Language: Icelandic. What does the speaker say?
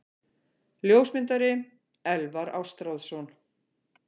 Ljósmyndari: Elvar Ástráðsson.